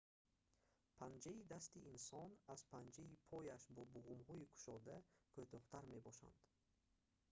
панҷаи дасти инсон аз панҷаи пояш бо буғумҳои кушода кӯтоҳтар мебошанд